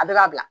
A bɛ ka bila